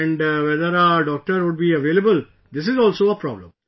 And whether a doctor would be available... this is also a problem